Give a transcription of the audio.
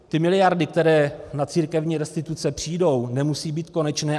Ty miliardy, které na církevní restituce přijdou, nemusí být konečné.